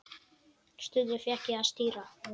Stundum fékk ég að stýra.